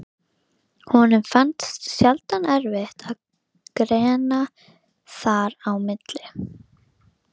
Björn Þorláksson, fréttamaður: Hvaða bændur eru verst settir?